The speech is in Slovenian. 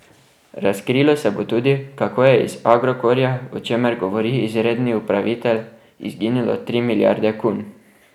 Razkrilo se bo tudi to, kako je iz Agrokorja, o čemer govori izredni upravitelj, izginilo tri milijarde kun.